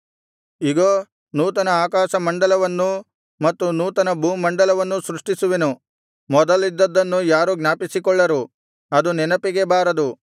ಇಗೋ ನೂತನ ಆಕಾಶಮಂಡಲವನ್ನೂ ಮತ್ತು ನೂತನ ಭೂಮಂಡಲವನ್ನೂ ಸೃಷ್ಟಿಸುವೆನು ಮೊದಲಿದ್ದದ್ದನ್ನು ಯಾರೂ ಜ್ಞಾಪಿಸಿಕೊಳ್ಳರು ಅದು ನೆನಪಿಗೆ ಬಾರದು